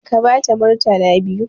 Ka bata murtala biyu!